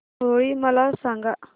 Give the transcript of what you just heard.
होळी मला सांगा